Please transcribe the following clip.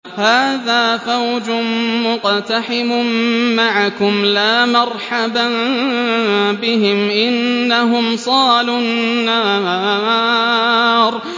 هَٰذَا فَوْجٌ مُّقْتَحِمٌ مَّعَكُمْ ۖ لَا مَرْحَبًا بِهِمْ ۚ إِنَّهُمْ صَالُو النَّارِ